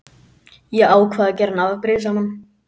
Ég ákvað að gera hann afbrýðisaman.